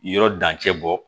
Yɔrɔ dancɛ bɔ